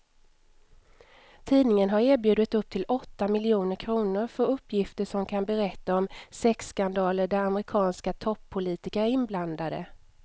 Tidningen har erbjudit upp till åtta miljoner kr för uppgifter som kan berätta om sexskandaler där amerikanska toppolitiker är inblandade.